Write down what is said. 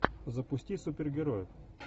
запусти супергероев